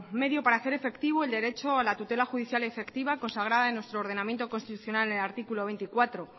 medio para hacer efectivo el derecho a la tutela judicial efectiva consagrada en nuestro ordenamiento constitucional en el artículo veinticuatro